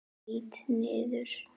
Lít niður.